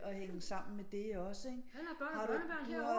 At hænge sammen med det også ikke